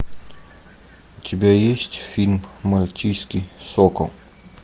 у тебя есть фильм мальтийский сокол